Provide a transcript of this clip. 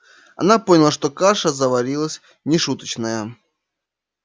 она поняла что каша заварилась нешуточная